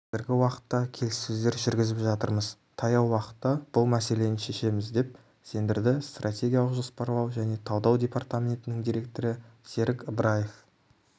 қазіргі уақытта келіссөздер жүргізіп жатырмыз таяу уақытта бұл мәселені шешеміз деп сендірді стратегиялық жоспарлау және талдау департаметінің директоры серік ыбыраев